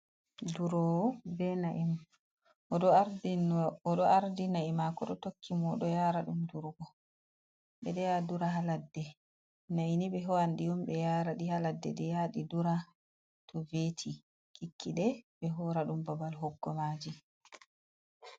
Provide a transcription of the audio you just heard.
Durowo na'i, oɗo ardi na'i maako ɗo tokki mo oɗo yaara ɗum durugo. Ɓe ɗo ya dura ha ladde, na'i ni ɓe ho'an ɗi ɓe yaara ɗi ha ladde ɗi yaa ɗi dura to veti, kikkiɗe ɓe hoora ɗum babal hoggo maaji.